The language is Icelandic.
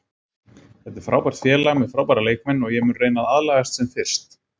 Þetta er frábært félag með frábæra leikmenn og ég mun reyna að aðlagast sem fyrst.